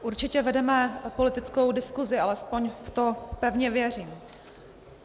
Určitě vedeme apolitickou diskusi, alespoň v to pevně věřím.